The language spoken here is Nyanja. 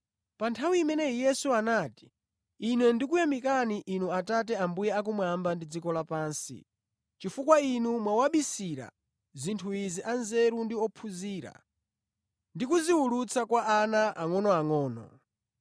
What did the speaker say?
Pa nthawi imeneyo Yesu anati, “Ine ndikukuyamikani Inu Atate Ambuye akumwamba ndi dziko lapansi, chifukwa Inu mwawabisira zinthu izi anzeru ndi ophunzira ndi kuziwulula kwa ana angʼonoangʼono.